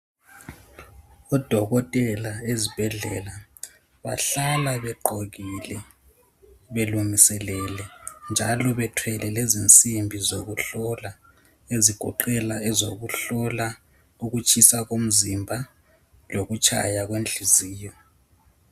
Odokotela ezibhedlela bahlala begqokile belungiselele njalo bethwele lezinzimbi zokuhlola, ezigoqela ezokuhlola ukutshisa komzimba lokutshaya kwenhliziyo.